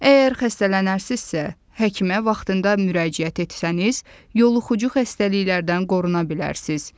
Əgər xəstələnərsinizsə, həkimə vaxtında müraciət etsəniz, yoluxucu xəstəliklərdən qoruna bilərsiniz.